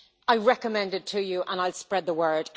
I recommend it to you, and I will spread the word.